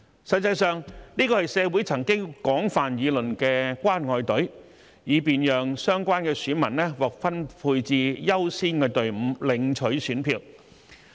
實際上，這是社會曾廣泛議論的"關愛隊"，以便讓相關選民獲分配至優先隊伍領取選票。